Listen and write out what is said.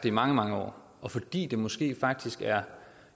i mange mange år og fordi det måske faktisk er